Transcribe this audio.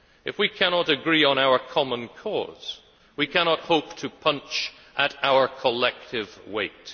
If we cannot agree on our common cause then we cannot hope to punch at our collective weight.